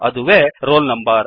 ಅದುವೇ roll number